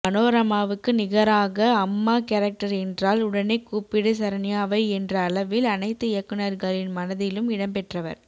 மனோரமாவுக்கு நிகராக அம்மா கேரக்டர் என்றால் உடனே கூப்பிடு சரண்யாவை என்ற அளவில் அனைத்து இயக்குனர்களின் மனதிலும் இடம் பெற்றவர்